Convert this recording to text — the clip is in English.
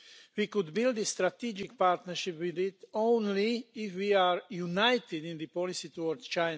We could build a strategic partnership with that country only if we are united in our policy towards it.